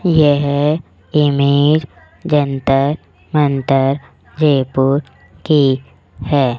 यह इमेज जंतर मंतर जयपुर की है।